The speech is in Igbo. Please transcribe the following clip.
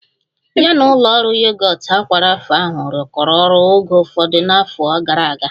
Ya na ụlọ ọrụ yogọt aqua Rapha ahụ rụkọrọ ọrụ oge ụfọdụ n'afọ gara aga